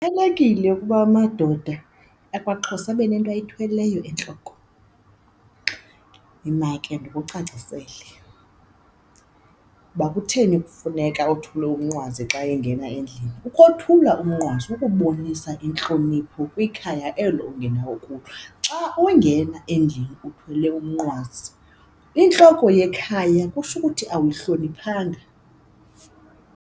Kubalulekile ukuba amadoda akwaXhosa abe nento ayithweleyo entloko. Yima ke ndikucacisele uba kutheni kufuneka othule umnqwazi xa engena endlini, ukothula umnqwazi kukubonisa intlonipho kwikhaya elo ungenawo okuyo. Xa ungena endlini uthwele umnqwazi, intloko yekhaya kutsho ukuthi awuyihloniphanga.